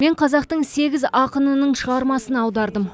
мен қазақтың сегіз ақынының шығармасын аудардым